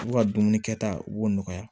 U ka dumuni kɛta u b'o nɔgɔya